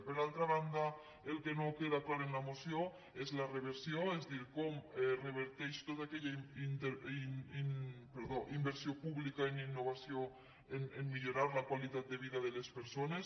per altra banda el que no queda clar en la moció és la reversió és a dir com reverteix tota aquella inver·sió pública en innovació a millorar la qualitat de vi·da de les persones